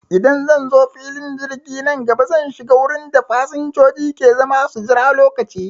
Idan zanzo filin jirgi nan gaba, zan shiga wurin da fasanjoji ke zama su jira lokaci